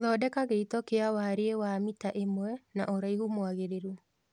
Thondeka gĩito kia warie wa mita ĩmwe na ũraihu mwagĩrĩru